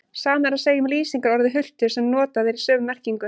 Sama er að segja um lýsingarorðið hultur sem notað er í sömu merkingu.